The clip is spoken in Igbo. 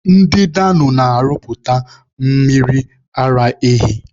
Ndị Dano na-arụpụta mmiri ara ehi.